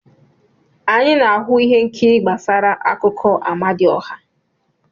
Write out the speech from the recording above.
Anyị na-ahụ ihe nkiri gbasara akụkọ Amadioha.